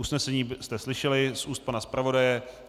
Usnesení jste slyšeli z úst pana zpravodaje.